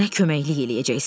Mənə köməklik eləyəcəksən.